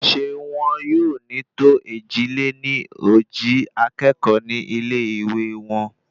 ṣé wọn yóò ní tó èjì-lé-ní-ojì akékòó ní ilé ìwé wọn?